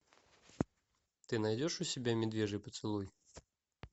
ты найдешь у себя медвежий поцелуй